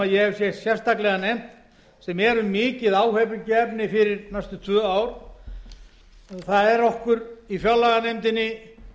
hef hér sérstaklega nefnt sem eru mikið áhyggjuefni fyrir næstu tvö ár það er okkur í fjárlaganefndinni